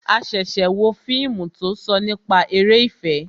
A ṣẹ̀ṣẹ̀ wo fíìmù tó sọ nípa eré ìfẹ́